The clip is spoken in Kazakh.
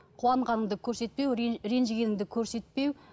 қуанғаныңды көрсетпеу ренжігеніңді көрсетпеу